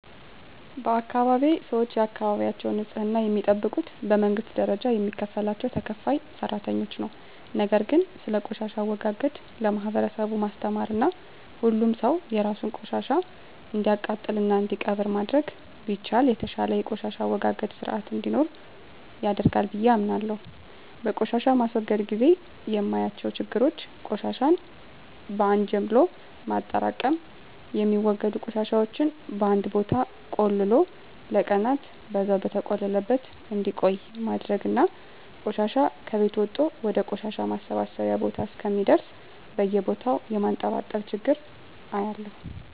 በአካባቢየ ሰወች የአካባቢያቸውን ንጽህና የሚጠብቁት በመንግስት ደረጃ የሚከፈላቸው ተከፋይ ሰራተኞች ነው። ነገር ግን ስለቆሻሻ አወጋገድ ለማህበረሰቡ ማስተማርና ሁሉም ሰው የራሱን ቆሻሻ እንዲያቃጥልና እንዲቀብር ማድረግ ቢቻል የተሻለ የቆሻሻ አወጋገድ ስርአት እንዲኖረን ያደርጋል ብየ አምናለሁ። በቆሻሻ ማስወገድ ግዜ የማያቸው ችግሮች ቆሻሻን በአን ጀምሎ ማጠራቅም፣ የሚወገዱ ቆሻሻወችን በአንድ ቦታ ቆልሎ ለቀናን በዛው በተቆለለበት እንዲቆይ ማድረግና ቆሻሻ ከቤት ወጦ ወደ ቆሻሻ ማሰባሰቢያ ቦታ እስከሚደርስ በየቦታው የማንጠባጠብ ችግር አያለሁ።